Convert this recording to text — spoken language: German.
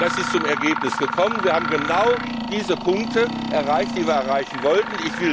mit. Es ist zum Ergebnis gekommen, wir haben genau diese Punkte erreicht, die wir erreichen wollten.